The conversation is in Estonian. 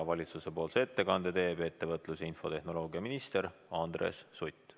Valitsuse nimel ettekande teeb ettevõtlus- ja infotehnoloogiaminister Andres Sutt.